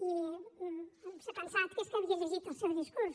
i s’ha pensat que és que havia llegit el seu discurs